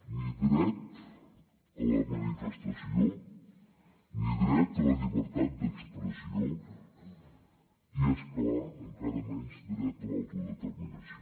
ni dret a la manifestació ni dret a la llibertat d’expressió i és clar encara menys dret a l’autodeterminació